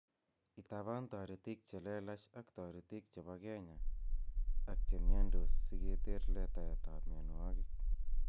Itaaban toritik chelelach ak toritik chebo kenyak ak chemiondos siketer letaetab mionwogik.